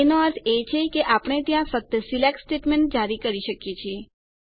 એનો અર્થ છે કે આપણે ત્યાં ફક્ત સિલેક્ટ સ્ટેટમેન્ટ્સ જારી કરી શકીએ છીએ